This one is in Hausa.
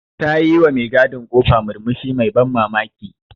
Ta yi wa me gadin ƙofa murmushi mai ban mamaki.